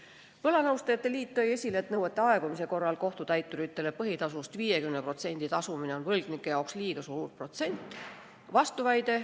Eesti Võlanõustajate Liit tõi esile, et nõuete aegumise korral kohtutäituritele põhitasust 50% tasumine on võlgnike jaoks liiga suur protsent.